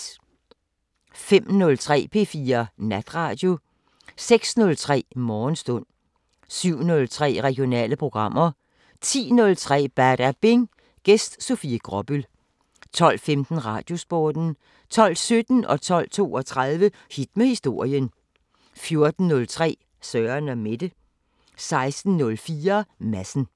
05:03: P4 Natradio 06:03: Morgenstund 07:03: Regionale programmer 10:03: Badabing: Gæst Sofie Gråbøl 12:15: Radiosporten 12:17: Hit med historien 12:32: Hit med historien 14:03: Søren & Mette 16:04: Madsen